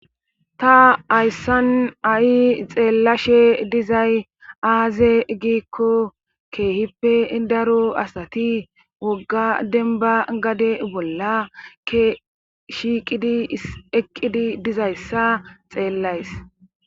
ta hayssan ha7i xeellashe dizay aaze giikko keehippe idaro asati wogga denba gade bolla shiiqidi eqqidi dizayssa xeellays